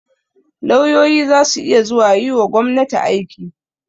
Lauyoyi za su iya yiwa gobnati aiki.